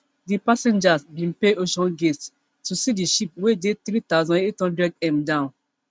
di passengers bin pay oceangate to see di ship wey dey three thousand, eight hundredm down